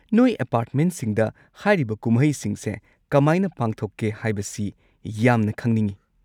ꯅꯣꯏ ꯑꯦꯄꯥꯔꯠꯃꯦꯟꯠꯁꯤꯡꯗ ꯍꯥꯏꯔꯤꯕ ꯀꯨꯝꯍꯩꯁꯤꯡꯁꯦ ꯀꯃꯥꯏꯅ ꯄꯥꯡꯊꯣꯛꯀꯦ ꯍꯥꯢꯕꯁꯤ ꯌꯥꯝꯅ ꯈꯪꯅꯤꯡꯉꯦ꯫